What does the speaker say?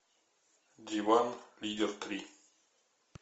диван лидер три